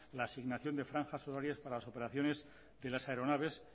la asignación de franjas horarias para las operaciones de las aeronaves